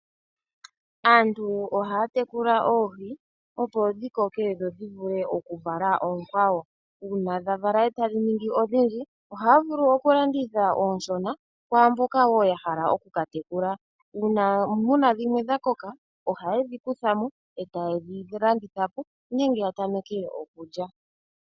Aantu ohaya tekula oohi opo dhi koke dho dhi vule okuvala oonkwawo. Uuna dha vala etadhi ningi odhindji ohaya vulu okulanditha oonshona kwaamboka woo ya hala oku ka tekula. Uuna muna dhimwe dha koka ohayedhi kutha mo etayedhi landitha po nenge ya tameke okulya.